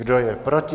Kdo je proti?